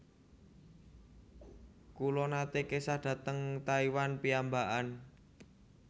Kula nate kesah dhateng Taiwan piyambakan